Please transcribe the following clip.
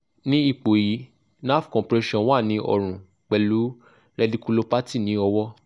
ni ipo yi nerve compression wa ni orun pelu rediculopathy ni owo